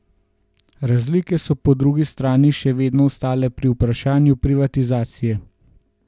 Razlike so po drugi strani še vedno ostale pri vprašanju privatizacije.